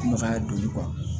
Nɔgɔya don